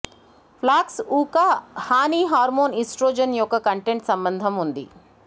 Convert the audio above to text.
flax ఊక హాని hormone oestrogen యొక్క కంటెంట్ సంబంధం ఉంది